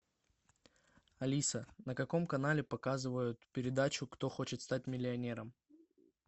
алиса на каком канале показывают передачу кто хочет стать миллионером